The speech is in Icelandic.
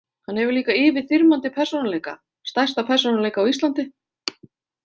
Hann hefur líka yfirþyrmandi persónuleika, stærsta persónuleika á Íslandi.